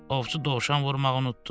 Ovçu dovşan vurmağı unutdu.